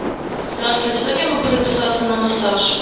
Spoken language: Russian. здравствуйте как я могу записаться на массаж